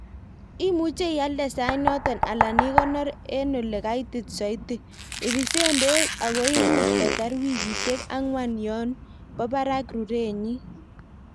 Imuche ialde sait noton alan ikonor en olekaitit soiti. Ibisen beek ago imuch kotar wikisiek ang'wan yon bo barak rurenyin.